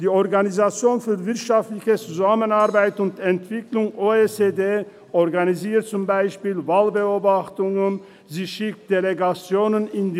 Die Organisation für wirtschaftliche Zusammenarbeit und Entwicklung, OECD, organisiert zum Beispiel Wahlbeobachtungen, sie schickt Delegationen in die